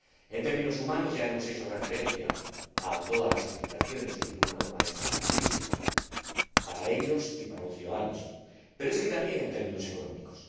En términos humanos, ya hemos hecho referencia a todas las implicaciones que tiene una norma de estas características, para ellos y para los ciudadanos, pero también en términos económicos.